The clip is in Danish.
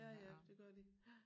Ja ja det gør de